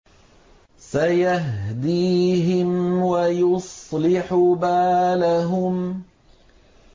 سَيَهْدِيهِمْ وَيُصْلِحُ بَالَهُمْ